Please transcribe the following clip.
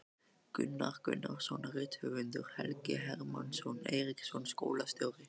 Gunnar Gunnarsson rithöfundur, Helgi Hermann Eiríksson skólastjóri